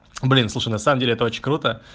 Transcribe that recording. блин слушай на самом деле это очень круто